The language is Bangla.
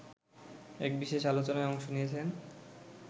এক বিশেষ আলোচনায় অংশ নিয়েছেন